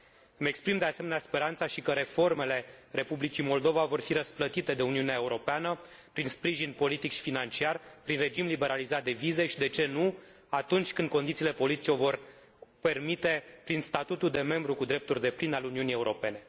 Îmi exprim, de asemenea, speranța și că reformele Republicii Moldova vor fi răsplătite de Uniunea Europeană prin sprijin politic și financiar, prin regim liberalizat de vize și, de ce nu, atunci când condițiile politice o vor permite, prin statutul de membru cu drepturi depline al Uniunii Europene.